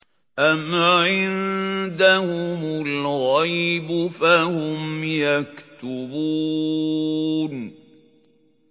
أَمْ عِندَهُمُ الْغَيْبُ فَهُمْ يَكْتُبُونَ